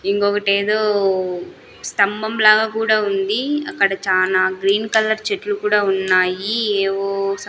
ఇంకొగటేదో స్తంభం లాగా కూడా ఉంది అక్కడ చానా గ్రీన్ కలర్ చెట్లు కూడా ఉన్నాయి ఏవో--